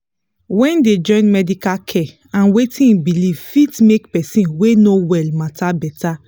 wen dey join medical care and wetin e belief fit make person wey no well matter beta.